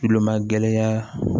Kulomagɛlɛya